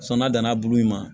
Sɔn n'a danna a bulu in ma